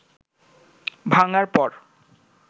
ভাঙার পর